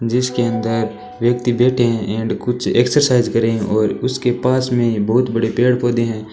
जिसके अंदर व्यक्ति बैठे है एंड कुछ एक्सरसाइज कर रहे है और उसके पास में बहुत बड़े पेड़ पौधे है।